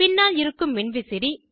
பின்னால் இருக்கும் மின்விசிறி